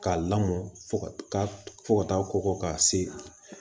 K'a lamɔ fo ka fɔ ka taa kɔkɔ k'a se